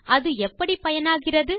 அது எப்படி பயனாகிறது